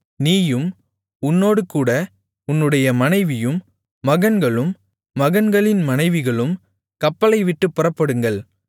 நீயும் உன்னோடுகூட உன்னுடைய மனைவியும் மகன்களும் மகன்களின் மனைவிகளும் கப்பலைவிட்டுப் புறப்படுங்கள்